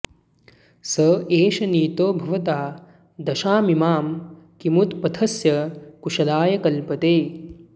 स एष नीतो भवता दशामिमां किमुत्पथस्थः कुशलाय कल्पते